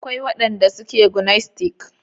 Akwai wadanda suke gnostics.